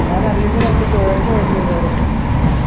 ഞാനതിന്ന് രണ്ട് കോവക്ക order എയ്തായിരുന്നു